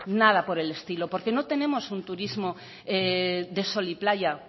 nada por el estilo porque no tenemos un turismo de sol y playa